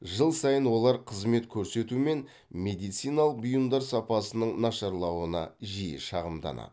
жыл сайын олар қызмет көрсету мен медициналық бұйымдар сапасының нашарлауына жиі шағымданады